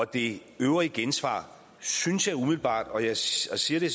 det øvrige gensvar synes jeg umiddelbart og jeg siger det